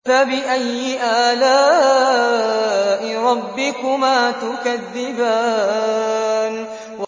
فَبِأَيِّ آلَاءِ رَبِّكُمَا تُكَذِّبَانِ